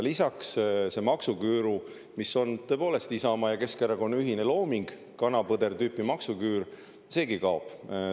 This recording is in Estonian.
Lisaks, see maksuküür, mis on tõepoolest Isamaa ja Keskerakonna ühine looming, kana-põder-tüüpi‑maksuküür, seegi kaob.